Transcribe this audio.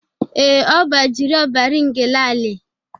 Ee, ọ bụ Ajuri Obari Ngelale.